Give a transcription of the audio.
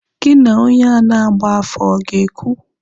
Gị na onye ahụ na-agba afa ọ ga-ekwu?